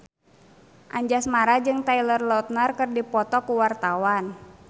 Anjasmara jeung Taylor Lautner keur dipoto ku wartawan